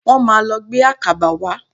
Wọ́n máà lọ gbé àkàbà wá.